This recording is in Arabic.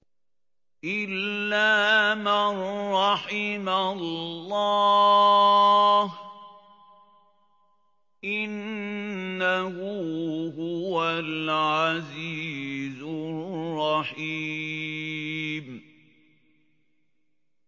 إِلَّا مَن رَّحِمَ اللَّهُ ۚ إِنَّهُ هُوَ الْعَزِيزُ الرَّحِيمُ